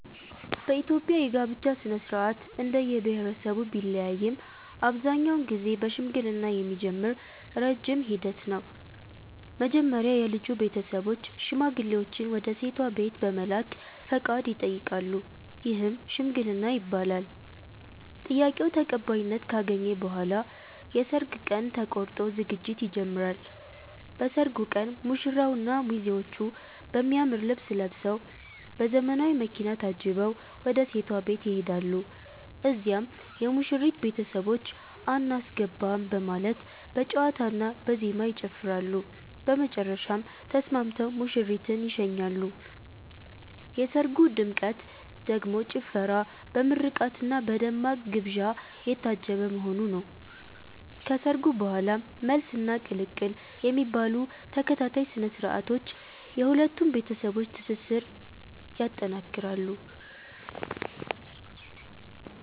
በኢትዮጵያ የጋብቻ ሥነ-ሥርዓት እንደየብሄረሰቡ ቢለያይም አብዛኛውን ጊዜ በሽምግልና የሚጀምር ረጅም ሂደት ነው። መጀመሪያ የልጁ ቤተሰቦች ሽማግሌዎችን ወደ ሴቷ ቤት በመላክ ፈቃድ ይጠይቃሉ፤ ይህም "ሽምግልና" ይባላል። ጥያቄው ተቀባይነት ካገኘ በኋላ የሰርግ ቀን ተቆርጦ ዝግጅት ይጀምራል። በሰርጉ ቀን ሙሽራውና ሚዜዎቹ በሚያምር ልብስ ለብሰዉ፤ በዘመናዊ መኪና ታጅበው ወደ ሴቷ ቤት ይሄዳሉ። እዚያም የሙሽሪት ቤተሰቦች "አናስገባም " በማለት በጨዋታና በዜማ ይጨፍራሉ፤ በመጨረሻም ተስማምተው ሙሽሪትን ይሸኛሉ። የሰርጉ ድምቀት ደግሞ ጭፈራ፣ በምርቃትና በደማቅ ግብዣ የታጀበ መሆኑ ነው። ከሰርጉ በኋላም "መልስ" እና "ቅልቅል" የሚባሉ ተከታታይ ስነ-ስርዓቶች የሁለቱን ቤተሰቦች ትስስር ይጠነክራል።